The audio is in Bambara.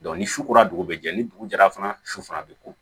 ni su kora dugu bɛ jɛ ni dugu jɛra fana su fana bɛ ko